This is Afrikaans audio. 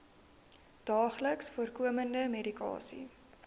daagliks voorkomende medikasie